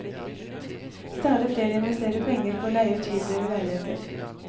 Stadig flere investerer penger på å leie ut hybler og leiligheter.